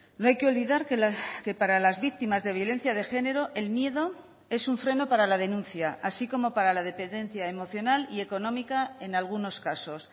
no hay que olvidar que para las víctimas de violencia de género el miedo es un freno para la denuncia así como para la dependencia emocional y económica en algunos casos